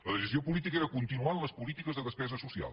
la decisió política era continuar en les polítiques de despesa social